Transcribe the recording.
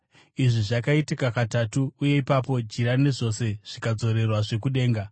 Izvi zvakaitika katatu, uye ipapo jira nezvose zvikadzoserwazve kudenga.